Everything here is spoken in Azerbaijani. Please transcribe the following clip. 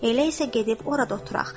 Elə isə gedib orada oturaq.”